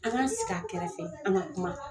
An ka sigi a kɛrɛfɛ an ka kuma